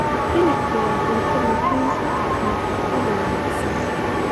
Hilibku waa cunto muhiim u ah nafaqada wanaagsan.